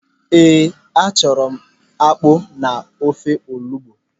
Ee, achọrọ m akpụ na ofe olugbu.